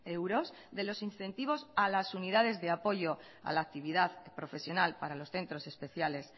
euros de los incentivos a las unidades de apoyo a la actividad profesional para los centros especiales